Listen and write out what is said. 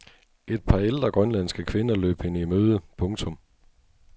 Et par ældre grønlandske kvinder løb hende i møde. punktum